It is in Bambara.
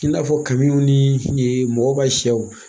I n'a fɔ kamiw ni mɔgɔw ka sɛw